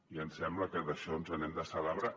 i ens sembla que d’això ens n’hem d’alegrar